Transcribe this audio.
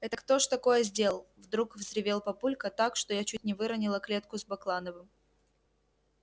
это кто ж такое сделал вдруг взревел папулька так что я чуть не выронила клетку с баклановым